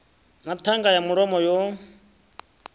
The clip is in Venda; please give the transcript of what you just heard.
na ṱhanga ya mulomo yo